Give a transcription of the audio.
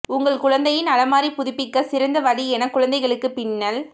உங்கள் குழந்தையின் அலமாரி புதுப்பிக்க சிறந்த வழி என குழந்தைகளுக்கு பின்னல்